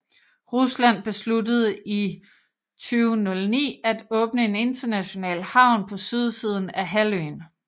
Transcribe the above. Rusland besluttede i 2009 at åbne en international havn på sydsiden af halvøen